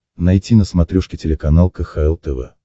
найти на смотрешке телеканал кхл тв